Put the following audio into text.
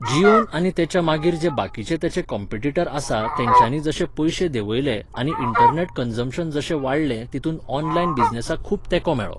Jeon आनी तेच्या मागीर जे बाकिचे तेचें कॅम्पिटीटर आसा तेंच्यानी जशे पयशे देंवयले आनी इंटरनॅट कन्जम्पशन जशें वाडलें तितूंत ऑनलायन बिजनॅसाक खूब तेंको मेळ्ळो